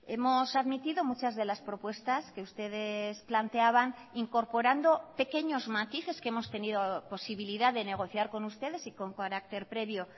hemos admitido muchas de las propuestas que ustedes planteaban incorporando pequeños matices que hemos tenido posibilidad de negociar con ustedes y con carácter previo